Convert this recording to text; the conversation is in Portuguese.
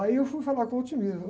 Aí eu fui falar com o.